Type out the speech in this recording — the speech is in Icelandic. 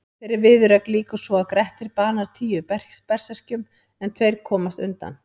Þeirri viðureign lýkur svo að Grettir banar tíu berserkjum en tveir komast undan.